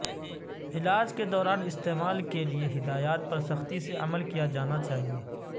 علاج کے دوران استعمال کے لئے ہدایات پر سختی سے عمل کیا جانا چاہئے